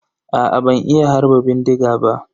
Aa ban iya harba bindiga ba.